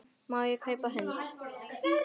Má ég kaupa hund?